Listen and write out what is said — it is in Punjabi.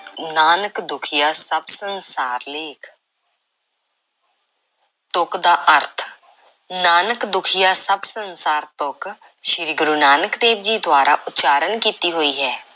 ਨਾਨਕ ਦੁਖੀਆ ਸਭ ਸੰਸਾਰ ਲੇਖ਼ ਤੁਕ ਦਾ ਅਰਥ, ਨਾਨਕ ਦੁਖੀਆ ਸਭ ਸੰਸਾਰ ਤੁਕ, ਸ਼੍ਰੀ ਗੁਰੂ ਨਾਨਕ ਦੇਵ ਜੀ ਦੁਆਰਾ ਉਚਾਰਨ ਕੀਤੀ ਹੋਈ ਹੈ।